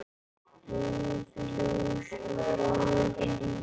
Lifi ljósið og lifi lífið!